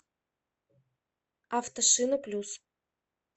автошинаплюс